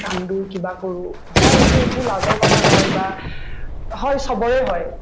কান্দো কিবা কৰো হয় এইটো একো লাজৰ কথা নহয় বা হয় চবৰে হয়